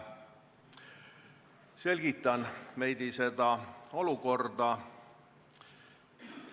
Selgitan veidi seda olukorda.